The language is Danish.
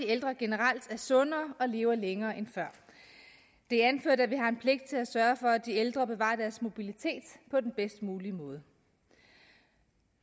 ældre generelt er sundere og lever længere end før det er anført at vi har en pligt til at sørge for at de ældre bevarer deres mobilitet på den bedst mulige måde